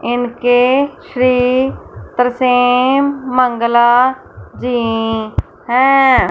इनके श्री तरसेम मंगला जी हैं।